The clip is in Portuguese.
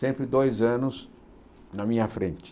Sempre dois anos na minha frente.